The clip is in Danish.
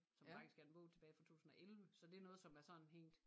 Som faktisk er en bog tilbage fra 2011 så det er noget som er sådan hængt